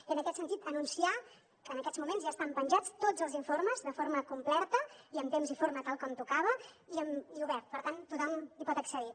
i en aquest sentit anunciar que en aquests moments ja estan penjats tots els informes de forma completa i en temps i forma tal com tocava i oberts per tant tothom hi pot accedir